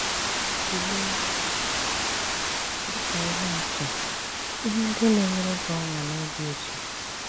Tùlèè, dị ka ihe atụ, ihe ndị na-enyère gị ọṅụ na òbì ùtù.